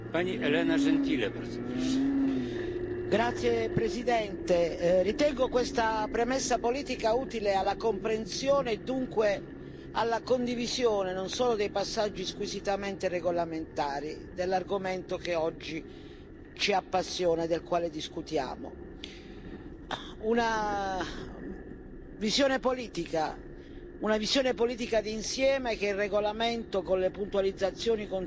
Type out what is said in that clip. Signor Presidente, onorevoli colleghi, ritengo questa premessa politica utile alla comprensione e dunque alla condivisione, non solo dei passaggi squisitamente regolamentari, dell'argomento che oggi ci appassiona e del quale discutiamo. Una visione politica d'insieme che il regolamento, con le puntualizzazioni contenute, potrà offrire ai cittadini europei,